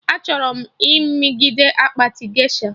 A chọrọ m.igite akpati gesha